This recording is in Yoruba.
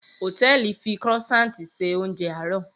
Hòtẹ́ẹ̀lì fi Croissant ṣe oúnjẹ àárọ̀